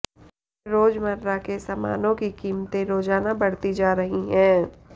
रोजमर्रा के सामानों की कीमतें रोजाना बढ़ती जा रही है